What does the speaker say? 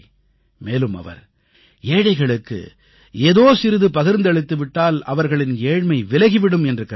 மேலும் அவர் ஏழைகளுக்கு ஏதோ சிறிது பகிர்ந்தளித்து விட்டால் அவர்களின் ஏழ்மை விலகி விடும் என்று கருதவில்லை